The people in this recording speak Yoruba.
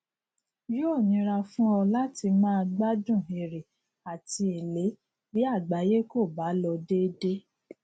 yóò nira fún ọ láti máa gbádùn èrè àti èlé bí àgbáyé kò bá lọ déédéé